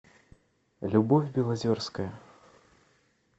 любовь белозерская